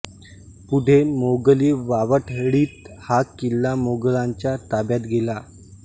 पुढे मोगली वावटळीत हा किल्ला मोगलांच्या ताब्यात गेला